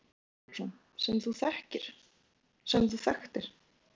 Jónas Margeir Ingólfsson: Sem þú þekktir?